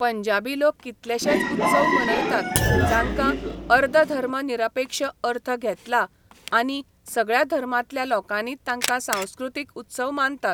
पंजाबी लोक कितलेशेच उत्सव मनयतात, जांकां अर्दधर्मनिरपेक्ष अर्थ घेतला आनी सगळ्या धर्मांतल्या लोकांनी तांकां सांस्कृतीक उत्सव मानतात.